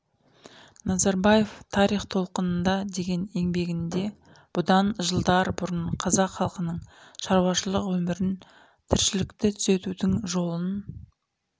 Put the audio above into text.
назарбаев тарих толқынында деген еңбегінде бұдан жылдар бұрын қазақ халқының шаруашылық өмірін тіршілікті түзеудің жолын